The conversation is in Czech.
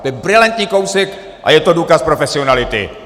To je brilantní kousek a je to důkaz profesionality!